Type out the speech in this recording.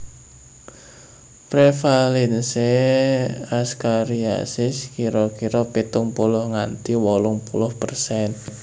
Prevalensi askariasis kira kira pitung puluh nganti wolung puluh persen